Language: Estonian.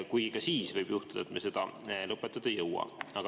Kuid ka siis võib juhtuda, et me seda lõpetada ei jõua.